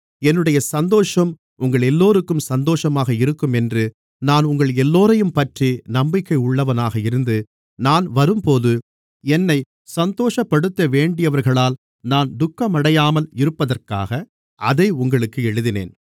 என்னுடைய சந்தோஷம் உங்களெல்லோருக்கும் சந்தோஷமாக இருக்கும் என்று நான் உங்களெல்லோரையும்பற்றி நம்பிக்கை உள்ளவனாக இருந்து நான் வரும்போது என்னைச் சந்தோஷப்படுத்தவேண்டியவர்களால் நான் துக்கமடையாமல் இருப்பதற்காக அதை உங்களுக்கு எழுதினேன்